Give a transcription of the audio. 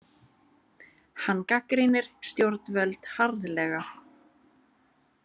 Hann gagnrýnir stjórnvöld harðlega